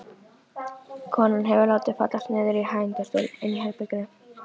Konan hefur látið fallast niður í hægindastól inni í herberginu.